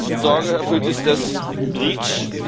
Ein Punkt der uns mit Sorge erfüllt, ist REACH.